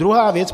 Druhá věc.